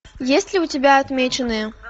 есть ли у тебя отмеченные